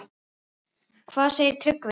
Hvað segir Tryggvi?